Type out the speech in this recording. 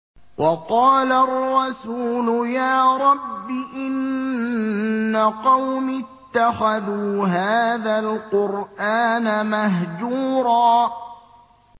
وَقَالَ الرَّسُولُ يَا رَبِّ إِنَّ قَوْمِي اتَّخَذُوا هَٰذَا الْقُرْآنَ مَهْجُورًا